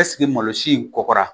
Ɛsike malo si in kɔkɔra